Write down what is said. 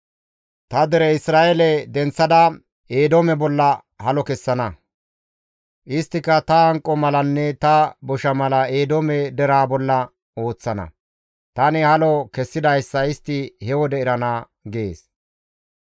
Ta dere Isra7eele denththada Eedoome bolla halo kessana; isttika ta hanqo malanne ta bosha mala Eedoome deraa bolla ooththana; tani halo kessidayssa istti he wode erana› gees.